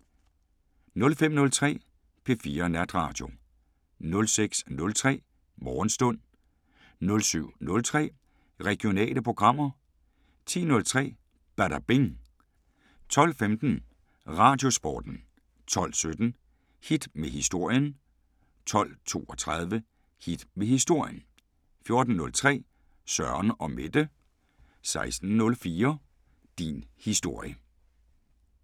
05:03: P4 Natradio 06:03: Morgenstund 07:03: Regionale programmer 10:03: Badabing 12:15: Radiosporten 12:17: Hit med historien 12:32: Hit med historien 14:03: Søren & Mette 16:04: Din historie